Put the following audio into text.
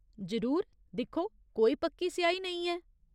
जरूर। दिक्खो, कोई पक्की स्याही नेईं ऐ।